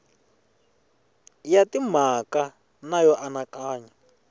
ya timhaka na yo anakanya